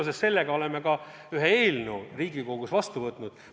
Seoses sellega oleme ka ühe eelnõu Riigikogus vastu võtnud.